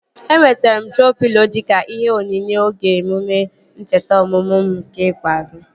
Enwetere m troo pịlo dịka ihe onyinye oge emume ncheta ọmụmụ m nke ikpeazụ